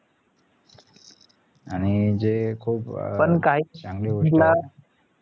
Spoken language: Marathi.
आणि जे खूप चांगली गोष्ट